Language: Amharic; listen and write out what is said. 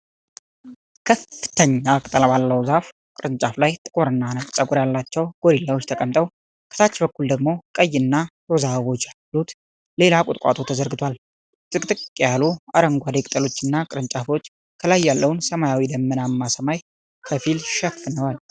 ከፍተኛ ቅጠል ባለው ዛፍ ቅርንጫፎች ላይ ጥቁርና ነጭ ፀጉር ያላቸው ጎሪላዎች ተቀምጠው ። ከታች በኩል ደግሞ ቀይና ሮዝ አበቦች ያሉት ሌላ ቁጥቋጦ ተዘርግቷል። ጥቅጥቅ ያሉ አረንጓዴ ቅጠሎችና ቅርንጫፎች ከላይ ያለውን ሰማያዊና ደመናማ ሰማይ ከፊል ሸፍነዋል።